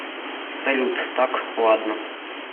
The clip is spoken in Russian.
салют так ладно